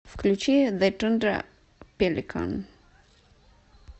включи зэ тундра пеликан